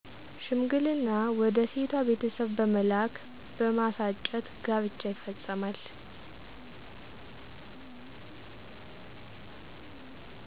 ሽምግልና ወደ ሴቷ ቤተሰብ በመላክ በማሳጨት ጋብቻ ይፈፀማል።